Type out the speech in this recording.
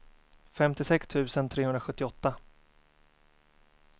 femtiosex tusen trehundrasjuttioåtta